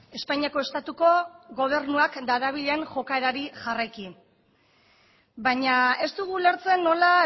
espainiako estatuko gobernuak darabilen jokaerari jarraiki baina ez dugu ulertzen nola